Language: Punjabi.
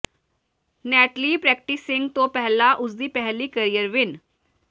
ਨੈਟਲੀ ਪ੍ਰੈਕਟਿਸਿੰਗ ਤੋਂ ਪਹਿਲਾਂ ਉਸ ਦੀ ਪਹਿਲੀ ਕਰੀਅਰ ਵਿਨ